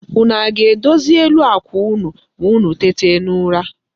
Unu ga-edozi elu àkwà unu ma unu tete n'ụra?